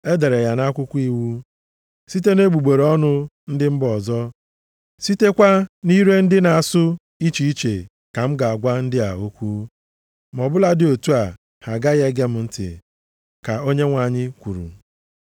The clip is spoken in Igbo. E dere ya nʼakwụkwọ iwu, “Site na egbugbere ọnụ ndị mba ọzọ sitekwa nʼire ndị na-asụ iche iche ka m ga-agwa ndị a okwu, ma ọbụladị otu a, ha agaghị ege m ntị, ka Onyenwe anyị kwuru.” + 14:21 \+xt Aịz 28:11,12\+xt*